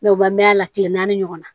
u bɛ mɛɛnna a tile naani ɲɔgɔnna